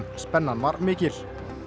spennan var mikil